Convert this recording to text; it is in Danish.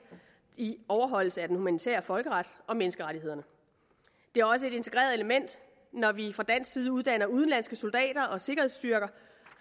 i overholdelse af den humanitære folkeret og menneskerettighederne det er også et integreret element når vi fra dansk side uddanner udenlandske soldater og sikkerhedsstyrker